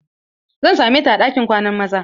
Zan same ta a ɗinkin kwanan maza.